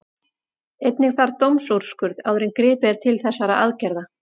Einnig þarf dómsúrskurð áður en gripið er til þessara aðgerða.